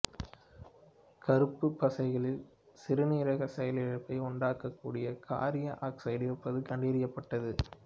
கருப்புப் பசைகளில் சிறுநீரகச் செயலிழப்பை உண்டாக்கக்கூடிய காரீய ஆக்சைடு இருப்பது கண்டறியப்பட்டது